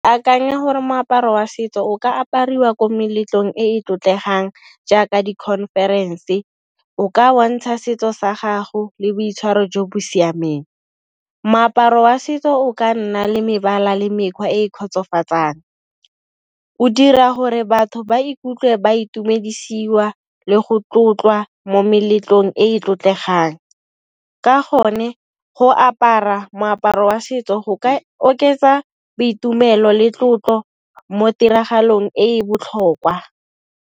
Akanya gore moaparo wa setso o ka apariwa ko meletlong e e tlotlegang jaaka di conference, o ka bontsha setso sa gago le boitshwaro jo bo siameng. Moaparo wa setso o ka nna le mebala le mekgwa e e kgotsofatsang, o dira gore batho ba ikutlwe ba itumedisiwa le go tlotlwa mo meletlong e e tlotlegang. Ka gone go apara moaparo wa setso go ka oketsa boitumelo le tlotlo mo ditiragalong e e botlhokwa.